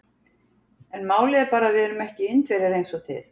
En málið er bara að við erum ekki Indverjar eins og þið.